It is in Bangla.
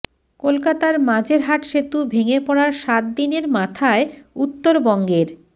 কলকাতার মাঝেরহাট সেতু ভেঙে পড়ার সাত দিনের মাথায় উত্তরবঙ্গের